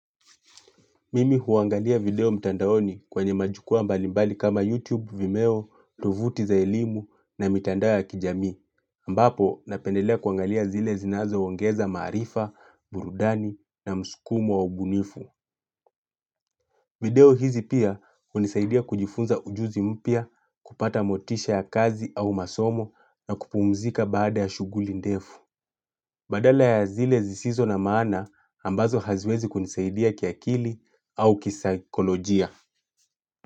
Mimi huangalia video mtandaoni kwenye majukwaa mbalimbali kama YouTube, Vimeo, tofuti za elimu na mitandao ya kijamii. Ambapo napendelea kuangalia zile zinazo ongeza maarifa, burudani na mskumo wa ubunifu. Video hizi pia hunisaidia kujifunza ujuzi mpya kupata motisha ya kazi au masomo na kupumzika baada ya shuguli ndefu. Badala ya zile zisizo na maana ambazo haziwezi kunisaidia kiakili au kisaikolojia.